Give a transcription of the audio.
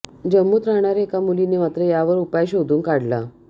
जम्मूत राहणाऱ्या एका मुलीनं मात्र यावर उपाय शोधून काढला